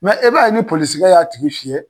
e b'a ye ni polosikɛ y'a tigi fiyɛ.